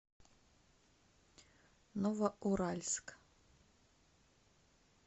новоуральск